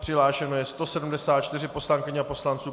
Přihlášeno je 174 poslankyň a poslanců.